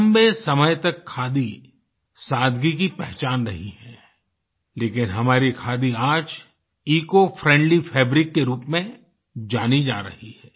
लम्बे समय तक खादी सादगी की पहचान रही है लेकिन हमारी खादी आज ईसीओ फ्रेंडली फैब्रिक के रूप में जानी जा रही है